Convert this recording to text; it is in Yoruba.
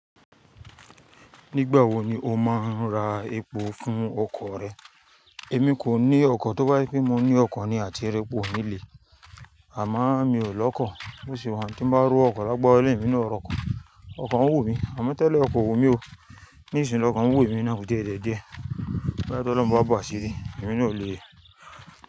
Nígbà wo ni o máa ń ra epo fún ọkọ̀ rẹ? Èmi kò ní ọkọ̀, tó bá yí pé mo ní ọkọ̀ ni, à ti r'epo ò nílé. Àmo mi ò lọ́kọ̀. Bó ṣe wa yen, ti n bá r'ówo ọkọ̀ lágbára olohun emi náà r'ọkọ̀, ọkọ̀ ń wù mí. Àmọ́ tẹ́lẹ̀ ọkọ̀ wù mí o, ní ìsinyìí lọ́kàn wù mí náà ò díẹ̀ díẹ̀ díẹ̀. Bí bá tó lọ́ mú a bà sílẹ̀, èmi náà ò lè.